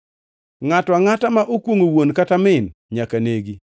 “Ngʼato angʼata ma okwongʼo wuon kata min nyaka negi.